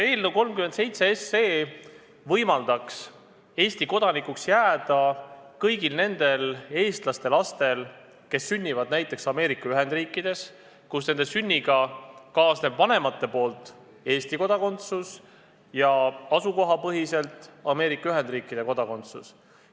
Eelnõu 37 võimaldaks seaduseks saanuna Eesti kodanikuks jääda kõigil nendel eestlaste lastel, kes sünnivad näiteks Ameerika Ühendriikides ja kellel on tänu nende vanematele õigus Eesti kodakondsusele ja tänu sünnikohale ka Ameerika Ühendriikide kodakondsusele.